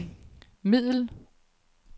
middel